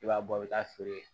I b'a bɔ i bɛ taa feere